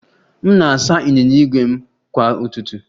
M na-asa ịnyịnya ígwè m kwa ụtụtụ